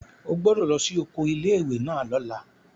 O gbọ́dọ̀ lọ sí oko ilé ìwé náà lọ́la!